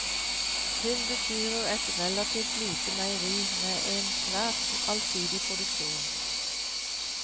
Hun bestyrer et relativt lite meieri med en svært allsidig produksjon.